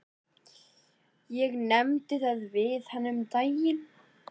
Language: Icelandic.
Ég nefndi það við hana um daginn.